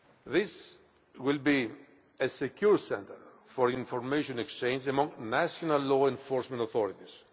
This will be a secure centre for information exchange among national law enforcement authorities.